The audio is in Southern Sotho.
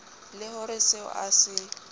le ho reseo a se